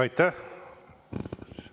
Aitäh!